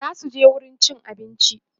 zasuje wurin cin abinci